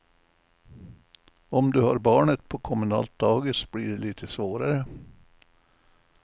Om du har barnet på kommunalt dagis blir det lite svårare.